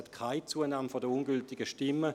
es gab keine Zunahme der ungültigen Stimmen.